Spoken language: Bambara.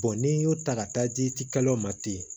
n'i y'o ta ka taa di ci kalo ma ten